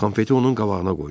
Konfeti onun qabağına qoydu.